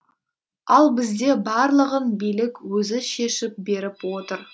ал бізде барлығын билік өзі шешіп беріп отыр